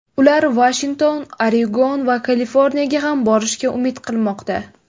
Ular Vashington, Oregon va Kaliforniyaga ham borishga umid qilmoqda.